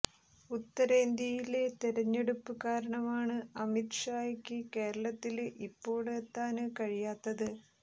ഉത്തരേന്ത്യയിലെ തെരഞ്ഞെടുപ്പ് കാരണമാണ് അമിത് ഷായ്ക്ക് കേരളത്തില് ഇപ്പോള് എത്താന് കഴിയാത്തത്